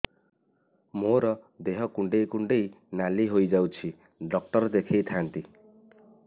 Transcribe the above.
ମୋର ଦେହ କୁଣ୍ଡେଇ କୁଣ୍ଡେଇ ନାଲି ହୋଇଯାଉଛି ଡକ୍ଟର ଦେଖାଇ ଥାଆନ୍ତି